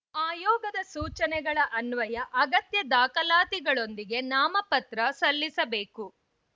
ಆಯೋಗದ ಸೂಚನೆಗಳ ಅನ್ವಯ ಅಗತ್ಯ ದಾಖಲಾತಿಗಳೊಂದಿಗೆ ನಾಮಪತ್ರ ಸಲ್ಲಿಸಬೇಕು